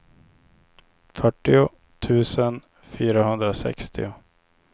fyrtio tusen fyrahundrasextio